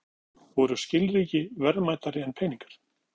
Nú á dögum voru skilríki verðmætari en peningar.